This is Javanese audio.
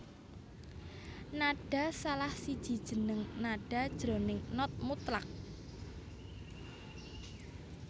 nada salah siji jeneng nada jroning not mutlak